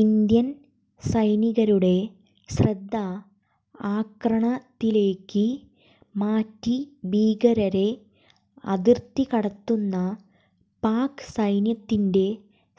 Indian സൈനികരുടെ ശ്രദ്ധ ആക്രണത്തിലേക്ക് മാറ്റി ഭീകരരെ അതിർത്തി കടത്തുന്ന പാക് സൈന്യത്തിന്റെ